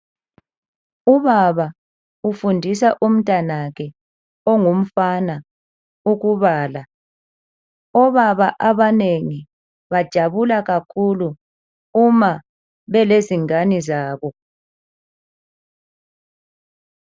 Ubaba ufundisa umntanakhe, ongumfana ukubala. Obaba abanengi, bajabula kakhulu uma bele zingane zabo.